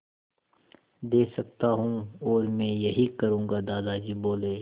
दे सकता हूँ और मैं यही करूँगा दादाजी बोले